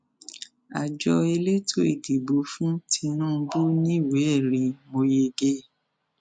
àjọ elétò ìdìbò fún tinubu níwèéẹrí mọ yege